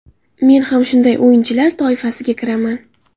Men ham shunday o‘yinchilar toifasiga kiraman.